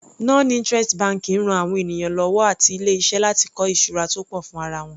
Non interest banking ran àwọn ènìyàn lọ́wọ́ àti ilé iṣẹ́ láti kọ́ ìṣura tó pọ̀ fún ara wọn.